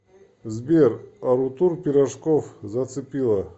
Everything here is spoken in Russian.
сбер арутур пирожков зацепила